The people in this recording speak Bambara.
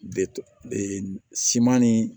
De siman ni